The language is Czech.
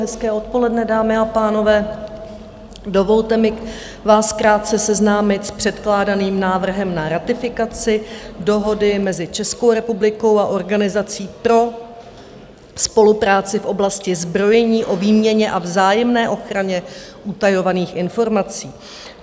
Hezké odpoledne, dámy a pánové, dovolte mi vás krátce seznámit s předkládaným návrhem na ratifikaci Dohody mezi Českou republikou a Organizací pro spolupráci v oblasti zbrojení o výměně a vzájemné ochraně utajovaných informací.